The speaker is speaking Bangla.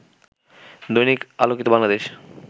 দৈনিক আলোকিত বাংলাদেশ